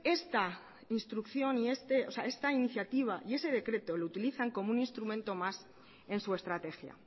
esta iniciativa y ese decreto lo utilizan como un instrumento más en su estrategia